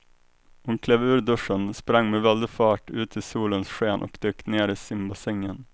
Hon klev ur duschen, sprang med väldig fart ut i solens sken och dök ner i simbassängen.